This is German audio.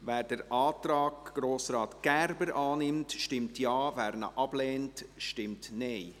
Wer den Antrag Grossrat Gerber annimmt, stimmt Ja, wer diesen ablehnt, stimmt Nein.